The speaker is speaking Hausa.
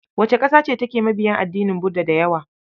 Wace ƙasa ce take mabiya addinin Buda da yawa?